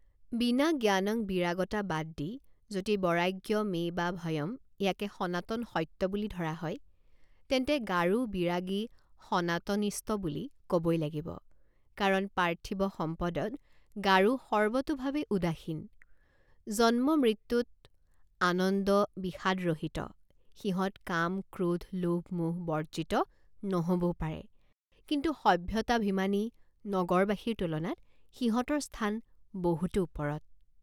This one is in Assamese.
বিনাজ্ঞানং বিৰাগতা বাদ দি যদি বৰাগ্যমেবাভয়ম ইয়াকে সনাতন সত্য বুলি ধৰা হয় তেন্তে গাৰো বিৰাগী সনাতনিষ্ট বুলি কবই লাগিব কাৰণ পাৰ্থিব সম্পদত গাৰো সৰ্বতোভাৱে উদাসীন জন্মমৃত্যুত আনন্দবিষাদৰহিত সিহঁত কামক্ৰোধ লোভমোহ বৰ্জিত নহবও পাৰে কিন্তু সভ্যতাভিমানী নগৰবাসীৰ তুলনাত সিহঁতৰ স্থান বহুতো ওপৰত।